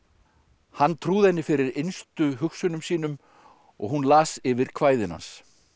hann trúði henni fyrir innstu hugsunum sínum og hún las yfir kvæðin hans